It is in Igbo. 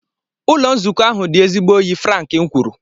Ụlọ nzukọ ahụ dị ezigbo oyi Frank kwuru.